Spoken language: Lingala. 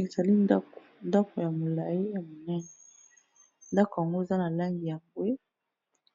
Ezali ndako, ndaku ya molayi ya monene ndako yango eza na langi ya mbwe